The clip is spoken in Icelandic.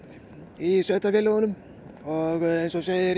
í sveitarfélögunum eins og segir